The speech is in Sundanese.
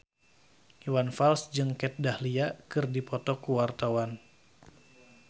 Iwan Fals jeung Kat Dahlia keur dipoto ku wartawan